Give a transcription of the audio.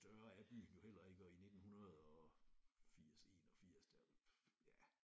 Større er byen jo heller ikke og i nittenhundredefirs 81 da ja